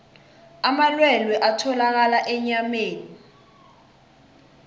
amalwelwe atholakala enyameni